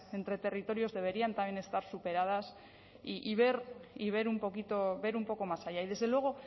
entre territorios deberían también estar superadas y ver un poquito ver un poco más allá y desde luego